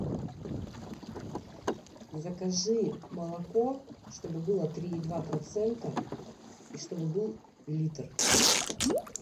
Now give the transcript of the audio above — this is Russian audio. закажи молоко чтобы было три и два процента и чтобы был литр